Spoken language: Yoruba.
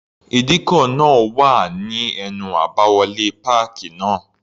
Ìdíkọ̀ náà wà ní ẹnu àbáwọlé páàkì náà.